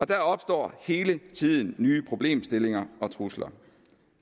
der opstår hele tiden nye problemstillinger og trusler